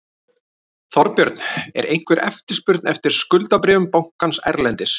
Þorbjörn: Er einhver eftirspurn eftir skuldabréfum bankans erlendis?